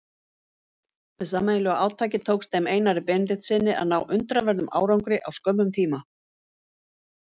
Með sameiginlegu átaki tókst þeim Einari Benediktssyni að ná undraverðum árangri á skömmum tíma.